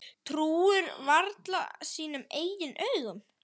Trúir varla sínum eigin augum.